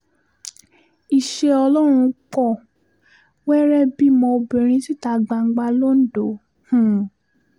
iṣẹ́ ọlọ́run pọ̀ wẹ́rẹ́ bímọ obìnrin síta gbangba londo um